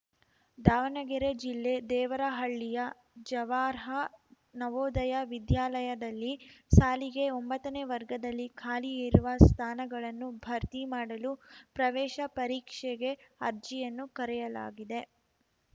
ದಾವಣಗೆರೆ ಜಿಲ್ಲೆ ದೇವರಹಳ್ಳಿಯ ಜವಾರ್ಹ ನವೋದಯ ವಿದ್ಯಾಲಯದಲ್ಲಿ ಸಾಲಿಗೆ ಒಂಬತ್ತನೇ ವರ್ಗದಲ್ಲಿ ಖಾಲಿ ಇರುವ ಸ್ಥಾನಗಳನ್ನು ಭರ್ತಿ ಮಾಡಲು ಪ್ರವೇಶ ಪರೀಕ್ಷೆಗೆ ಅರ್ಜಿಯನ್ನು ಕರೆಯಲಾಗಿದೆ